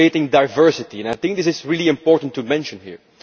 We are creating diversity. I think it is really important to mention this here.